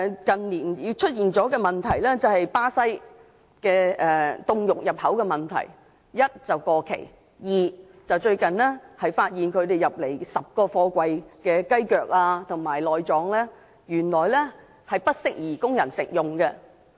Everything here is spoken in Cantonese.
近年亦出現巴西凍肉入口的問題：第一是過期；第二是最近發現從巴西入口的10個貨櫃的雞腳和內臟原來不宜供人食用。